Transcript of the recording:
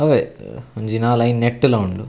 ಅವ್ವೆ ಒಂಜಿ ನಾಲ್ ಐನ್ ನೆಟ್ಟ್ಲ ಉಂಡು.